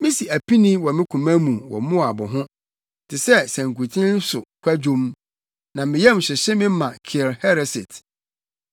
Misi apini wɔ me koma mu wɔ Moab ho te sɛ sankuten so kwadwom; na me yam hyehye me ma Kir Hereset.